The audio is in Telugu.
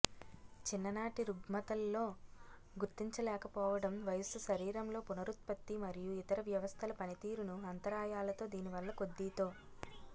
చిన్ననాటి రుగ్మతల్లో గుర్తించలేకపోవడం వయస్సు శరీరంలో పునరుత్పత్తి మరియు ఇతర వ్యవస్థల పనితీరును అంతరాయాలతో దీనివల్ల కొద్దీ తో